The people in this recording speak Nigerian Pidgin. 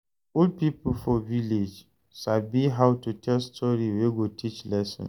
Old pipo for village sabi how to tell story wey go teach lesson